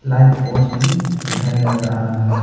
Light poles भी दिखाई नजर आ रहा है।